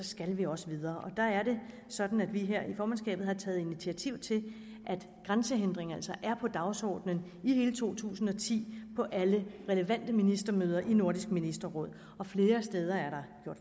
skal vi også videre der er det sådan at vi her i formandskabet har taget initiativ til at grænsehindringer altså er på dagsordenen i hele to tusind og ti på alle relevante ministermøder i nordisk ministerråd flere steder er der